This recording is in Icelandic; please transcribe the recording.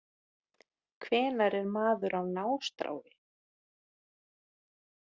Hvenær er maður á nástrái